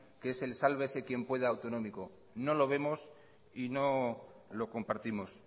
que es el sálvese quien pueda autonómico no lo vemos y no lo compartimos